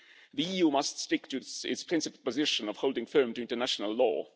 The EU must stick to its principal position of holding firm to international law.